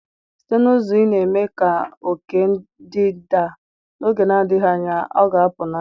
Site n'ụzọ ị na-eme ka oke ndị a daa, n'oge na-adịghị anya, ọ ga-apụ n'anya.